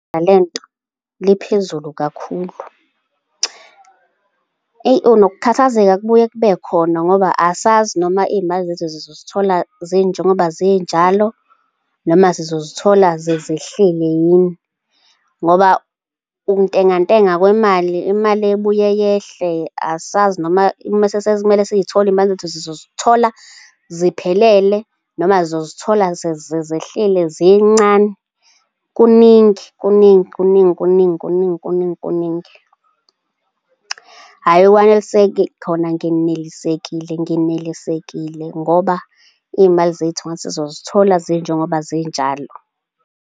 Nale nto liphezulu kakhulu. Nokukhathazeka kubuye kube khona, ngoba asazi noma iy'mali zethu sizosithola zinjengoba zinjalo, noma zizozithola sezehlile yini, ngoba ukuntengantenga kwemali, imali ebuye yehle, asazi noma mese sekumele siy'thole imali zethu sizosithola ziphelele noma sizozithola sezehlile zincane. Kuningi, kuningi, kuningi, kuningi, kuningi, kuningi, kuningi. Hhayi, ekwanelisekeni khona nginelisekile, ngenelisekile ngoba iy'mali zethu ngathi sizozithola zinjengoba zinjalo.